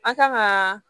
A kan ka